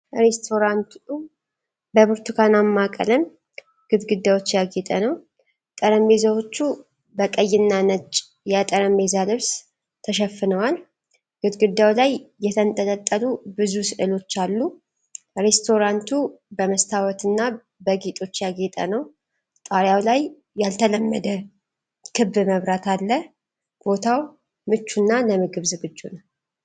ሬስቶራንቱ በብርቱካናማ ቀለም ግድግዳዎች ያጌጠ ነው። ጠረጴዛዎቹ በቀይና ነጭ የጠረጴዛ ልብስ ተሸፍነዋል። ግድግዳው ላይ የተንጠለጠሉ ብዙ ሥዕሎች አሉ። ሬስቶራንቱ በመስታወትና በጌጦች ያጌጠ ነው። ጣሪያው ላይ ያልተለመደ ክብ መብራት አለ። ቦታው ምቹና ለምግብ ዝግጁ ነው።